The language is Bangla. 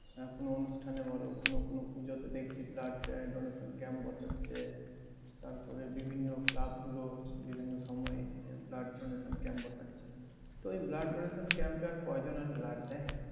আহ কোন অনুষ্ঠানে বলো বা কোনো কোনো পুজোতে দেখছি blood আহ donation camp বসাচ্ছে তারপরে বিভিন্ন club গুলো বিভিন্ন সময়ে আহ blood donation camp বসাচ্ছে তো এই blood donation camp এ আর কয়জন আর blood দেয়